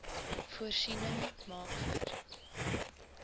voorsiening maak vir